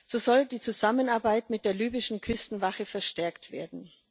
So soll die Zusammenarbeit mit der libyschen Küstenwache verstärkt werden.